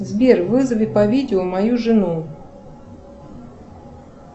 сбер вызови по видео мою жену